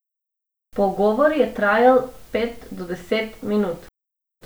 Pogovor je trajal pet do deset minut.